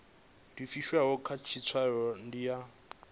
livhiswaho kha tshitshavha ndi ya